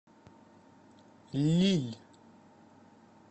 лилль